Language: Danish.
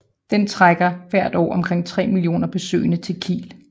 Den trækker hvert år omkring 3 mio besøgende til Kiel